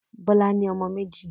Bọ́lá ní ọmọ méjì.